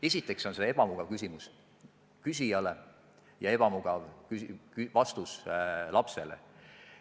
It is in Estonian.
Esiteks on see ebamugav palve selle esitajale ja teiseks ebamugav vastus lastele.